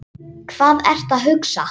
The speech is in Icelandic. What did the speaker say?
Hvað ertu að hugsa?